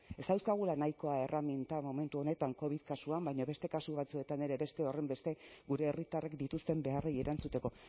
ez dauzkagula nahikoa erreminta momentu honetan covid kasuan baina beste kasu batzuetan ere beste horrenbeste gure herritarrek dituzten beharrei erantzuteko